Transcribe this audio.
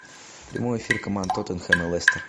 прямой эфир команд тоттенхэм и лестер